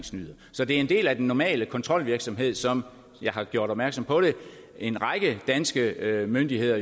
så det er en del af den normale kontrolvirksomhed som og jeg har gjort opmærksom på det en række danske myndigheder